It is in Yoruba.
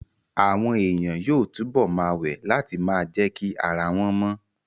Àwọn èèyàn yóò túbọ̀ ma wẹ̀ láti ma jẹ́kí ara wọ́n mọ